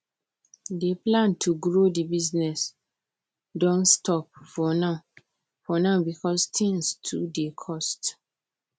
di plan to grow the business don stop for now for now because things too dey cost